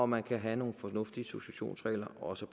man kan have nogle fornuftige successionsregler også